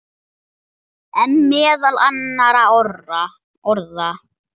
En meðal annarra orða.